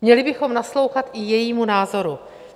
Měli bychom naslouchat i jejímu názoru.